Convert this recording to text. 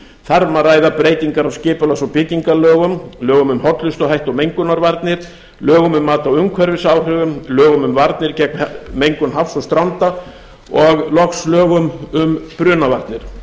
um að ræða breytingar á skipulags og byggingarlögum lögum um hollustuhætti og mengunarvarnir lögum um mat á umhverfisáhrifum lögum um varnir gegn mengun hafs og stranda og loks lögum um brunavarnir